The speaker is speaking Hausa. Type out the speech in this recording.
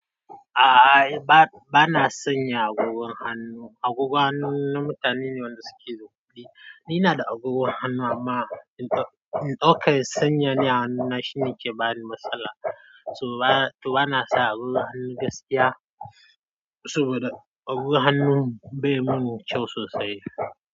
A'a, ba na sanya agogon hannu. Agogon hannun mutane ne wanda suke da kuɗi. Ni na da agogon hannu amma in ɗauka. In sanya ne a hannuna shine ke bani matsala. Su bana sa agogon hannu gaskiya saboda agogon hannun bai mun kyau sosai.